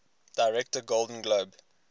director golden globe